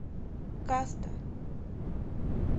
каста